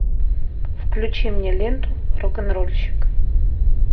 включи мне ленту рок н рольщик